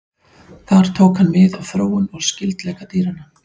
Þar tók hann mið af þróun og skyldleika dýranna.